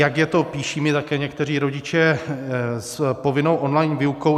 Jak je to - píší mi také někteří rodiče - s povinnou online výukou?